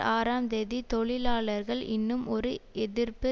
ஆறாம் தேதி தொழிலாளர்கள் இன்னும் ஒரு எதிர்ப்பு